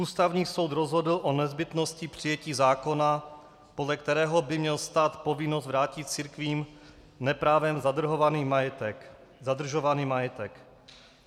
Ústavní soud rozhodl o nezbytnosti přijetí zákona, podle kterého by měl stát povinnost vrátit církvím neprávem zadržovaný majetek.